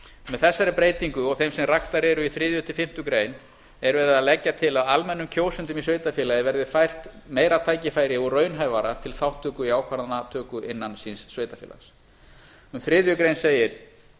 með þessari breytingu og þeim sem raktar eru í þriðja til fimmtu grein er verið að leggja til að almennum kjósendum í sveitarfélagi verði fært meira tækifæri og raunhæfara til þátttöku í ákvarðanatöku innan síns sveitarfélags um þriðja segir